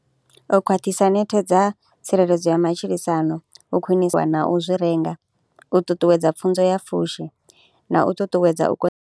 U khwaṱhisa nethe dza tsireledzo ya matshilisano, u khwinisa na u zwi renga, u ṱuṱuwedza pfhunzo ya pfushi na u ṱuṱuwedza u .